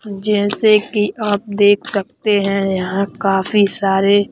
जैसे कि आप देख सकते हैं यहां काफी सारे--